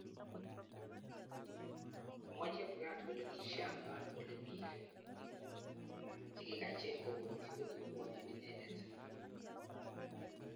Kimwaa Chebukati kole kishangaan kole piil chekikacheng kopokchi kokipwonchi inendet